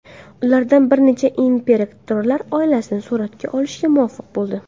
Ulardan bir nechasi imperatorlik oilasini suratga olishga muvaffaq bo‘ldi.